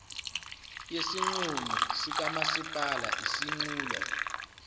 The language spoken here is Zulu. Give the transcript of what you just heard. yesinqumo sikamasipala isinqulo